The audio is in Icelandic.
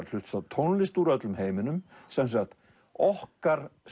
hlusta á tónlist úr öllum heiminum sem sagt okkar